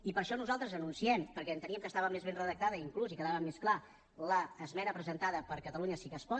i per això nosaltres anunciem perquè enteníem que estava més ben redactada inclús i quedava més clar l’esmena presentada per catalunya sí que es pot